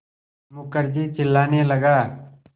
मुखर्जी चिल्लाने लगा